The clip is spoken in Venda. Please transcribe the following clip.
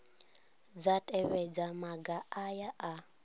dza tevhedza maga aya a